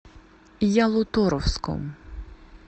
ялуторовском